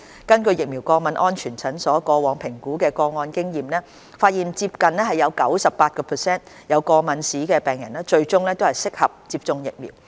根據疫苗過敏安全門診過往評估個案的經驗，發現接近 98% 有過敏病史的人士最終適合接種疫苗。